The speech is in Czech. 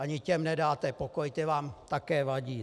Ani těm nedáte pokoj, ta vám také vadí.